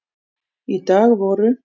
Í dag voru